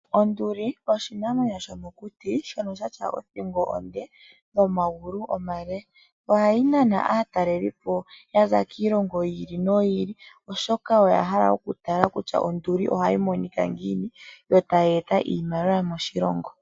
Onduli oshinamwenyo shomokuti shono sha tya othingo nomagulu omale. Ohayi nana aatalelipo yaza kiilongo yi ili noyi ili, oshoka oya hala okutala kutya onduli ohayi monika ngiini, yo taya eta iimaliwa moshilongo.